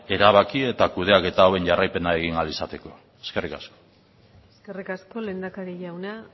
erabaki eta kudeaketa hauen jarraipena egin ahal izateko eskerrik asko eskerrik asko lehendakari jauna